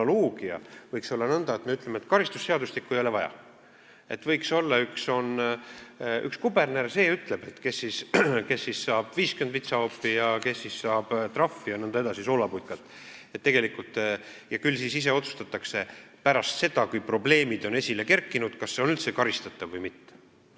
Analoogia võiks olla selline, et me ütleme, et karistusseadustikku ei ole vaja, võiks olla üks kuberner, see ütleb, kes saab 50 vitsahoopi, kes saab trahvi ja nõnda edasi, kes pannakse soolaputkasse, ja küll siis pärast seda, kui probleemid on esile kerkinud, ise otsustatakse, kas see tegu on üldse karistatav või mitte.